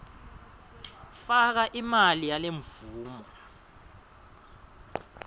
faka imali yalemvumo